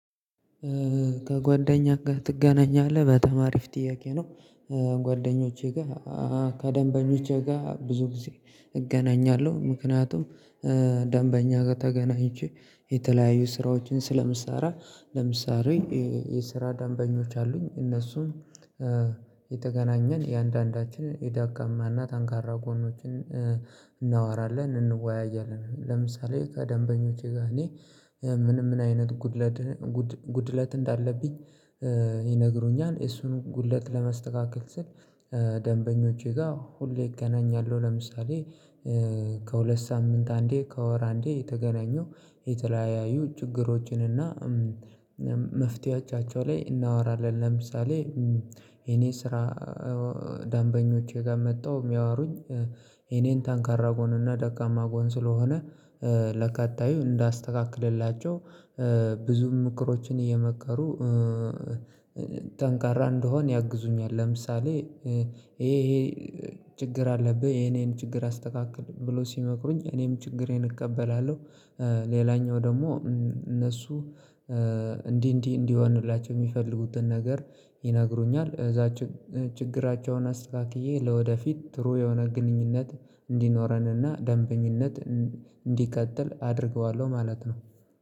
ከጓደኛ ጋር ትገናኛለህ? በጣም አሪፍ ጥያቄ ነው። ጓደኞቼ ጋር ከደንበኞቼ ጋር ብዙ ጊዜ እገናኛለሁ፤ ምክንያቱም ደንበኛ ጋር ተገናኝቼ የተለያዩ ስራዎችን ስለምሰራ ለምሳሌ የስራ ደንበኞች አሉኝ፤ እነሱም የተገናኘን የአንዳንዳችን የዳጋማና ታንካራ ጎኖችን እናወራለን፤ እንወያያለን ለምሳሌ ከደንበኞቼ ጋር እኔ ምንም አይነት ጉድለት ጉድለት እንዳለብኝ ይነግሩኛል እሱን ጉድለት ለመስተካከል ስል ደንበኞቼ ጋር ሁሌ እገናኛለሁ ለምሳሌ ከሁለት ሳምንት አንዴ ከወር አንዴ የተገናኙ የተለያዩ ችግሮችን እና መፍትሄዎቻቸው ላይ እናወራለን ለምሳሌ የኔ ስራ ዳንበኞቼ ጋር መጣሁ የሚያወሩኝ የኔን ታንካራ ጎን እና ደጋማ ጎን ስለሆነ ለቀጣዩ እንዳስተካክልላቸው ብዙ ምክሮችን እየመከሩ ጠንካራ እንደሆን ያግዙኛል ለምሳሌ ይሄ ይሄ ችግር አለብህ የኔን ችግር አስተካክል ብሎ ሲመክሩኝ እኔም ችግሬን እቀበላለሁ ሌላኛው ደግሞ እነሱ እንዲህ እንዲህ እንዲህ የሆንላቸው የሚፈልጉትን ነገር ይነግሩኛል እዛች እዛችን ችግራቸውን አስተካክዬ ለወደፊት ትሩ የሆነ ግንኙነት እንዲኖረንና ደንበኝነት እንዲቀጥል አድርገዋለሁ ማለት ነው።